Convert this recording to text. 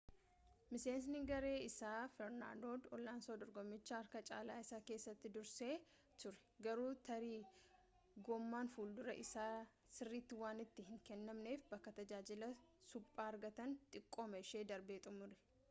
miseensi garee isaa fernaandoo aloonsoon dorgommicha harka caalaa isaa keessatti dursee ture garuu tarii gommaan fuulduraa sirriitti waan itti hin kaa'amneef bakka tajaajila suphaa argatan xiqqooma ishii darbee xumure